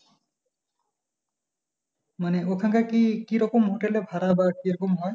মানে ওখানকার কি কীরকম হোটেল এর ভাড়া বা কীরকম হয়?